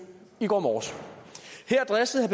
i går morges her dristede